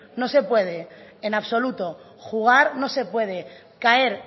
no se puede en absoluto jugar no se puede caer